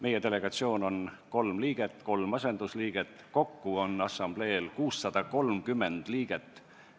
Meie delegatsioonis on kolm liiget ja kolm asendusliiget, kokku on assamblees 630 liiget.